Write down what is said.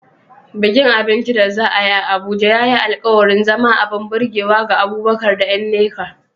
Bikin abinci da za a yi a Abuja ya yi alkawarin zama abin burgewa ga Abubakar da Nneka.